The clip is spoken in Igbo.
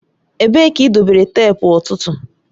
Ebee ka idobere teepu ọ̀tụ̀tụ̀?